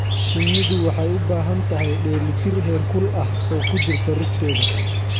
Shinnidu waxay u baahan tahay dheellitir heerkul ah oo ku jirta rugteeda.